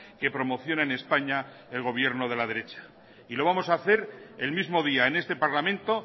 que promociona en españa el gobierno de la derecha y lo vamos a hacer el mismo día en este parlamento